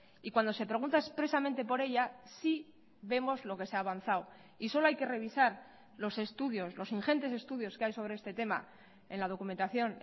y cuando se pregunta expresamente por ella sí vemos lo que se ha avanzado y solo hay que revisar los estudios los ingentes estudios que hay sobre este tema en la documentación